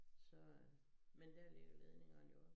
Så øh men dér ligger ledningerne jo